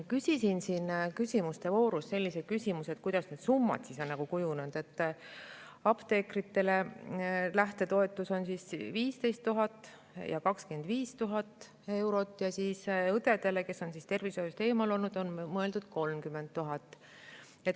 Küsisin siin küsimuste voorus sellise küsimuse, et kuidas need summad on kujunenud, et apteekritele lähtetoetus on 15 000 ja 25 000 eurot ning õdedele, kes on tervishoiust eemal olnud, on mõeldud 30 000.